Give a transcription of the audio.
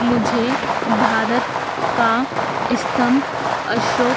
मुझे भारत का स्तंभ अशोक--